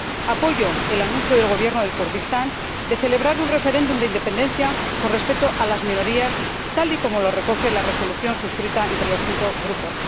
Apoyo el anuncio del Gobierno del Kurdistán de celebrar un referéndum de independencia con respeto a las minorías, tal y como lo recoge la Resolución suscrita entre los cinco grupos.